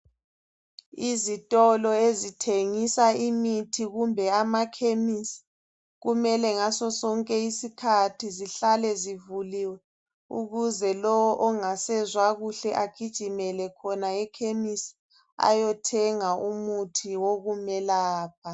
Izitolo ezithengisa imithi kumbe amakhemisi kumele ngaso sonke isikhathi zihlale zivuliwe ukuze lowo ongasezwa kuhle agijimele khona ekhemisi ayothenga umuthi okumelapha